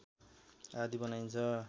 आदि बनाइन्छ